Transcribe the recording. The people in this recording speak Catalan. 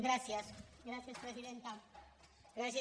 gràcies gràcies presidenta